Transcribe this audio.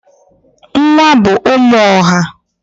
Nwa bụ ụmụ ọha.